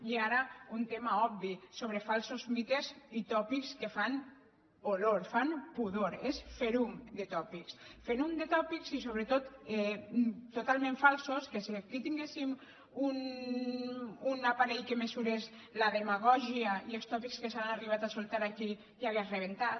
i ara un tema obvi sobre falsos mites i tòpics que fan olor fan pudor és ferum de tòpics ferum de tòpics i sobretot totalment falsos que si aquí tinguéssim un aparell que mesurés la demagògia i els tòpics que s’han arribat a soltar aquí ja hauria rebentat